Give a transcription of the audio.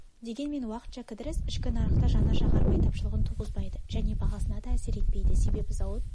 дегенмен уақытша кідіріс ішкі нарықта жанар-жағармай тапшылығын туғызбайды және бағасына да әсер етпейді себебі зауыт